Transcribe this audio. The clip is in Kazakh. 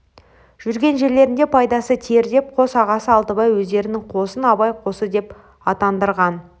жүрген жерлерінде пайдасы тиер деп қос ағасы алтыбай өздерінің қосын абай қосы деп атандырған